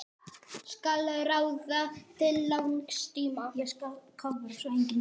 Skal ráða til langs tíma?